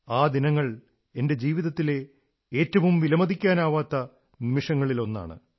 ആ ദിനങ്ങൾ എന്റെ ജീവിതത്തിലെ ഏറ്റവും വിലമതിക്കാനാവാത്ത നിമിഷങ്ങളിലൊന്നാണ്